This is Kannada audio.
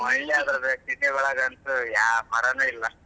ನಮ್ ಹಳ್ಳಿ city ಒಳ್ಗಂತೂ ಯಾವ ಮರನು ಇಲ್ಲ.